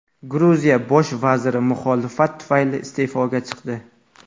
Gruziya Bosh vaziri muxolifat tufayli iste’foga chiqdi.